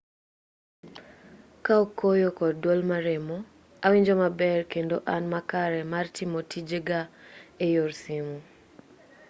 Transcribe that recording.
kaok koyo kod duol maremo awinjo maber kendo an makare mar timo tije ga eyor simu